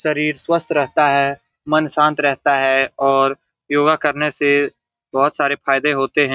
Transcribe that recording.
शरीर स्वस्थ रहता है मन शांत रहता हैऔर योगा करने से बहोत सारे फायदे होते हैं।